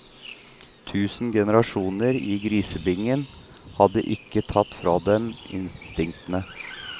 Tusen generasjoner i grisebingen hadde ikke tatt fra dem instinktene.